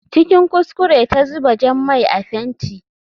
Cikin kuskure ta zuba jan mai a fenti.